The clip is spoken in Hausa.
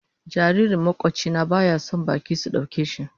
Jaririn makwabci na baya son baki sun dauka shi.